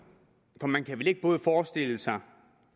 for man kan vel ikke både forestille sig